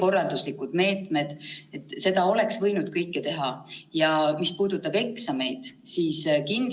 Pärast eesti keele riigieksamit toimuvad B2‑taseme eksamiga ühitatud eesti keele teise keelena kirjalik ja suuline eksam ja see puudutab veidi rohkem kui 2700 noort.